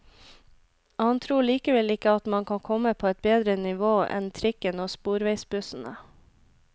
Han tror likevel ikke at man kan komme på et bedre nivå enn trikken og sporveisbussene.